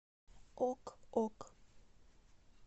ок ок